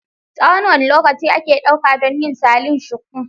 Tsawon wane lokaci ake ɗauka don yin salon shuku?